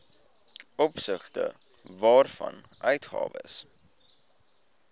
opsigte waarvan uitgawes